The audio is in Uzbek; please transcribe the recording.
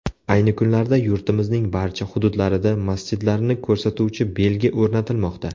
Ayni kunlarda yurtimizning barcha hududlarida masjidlarni ko‘rsatuvchi belgi o‘rnatilmoqda.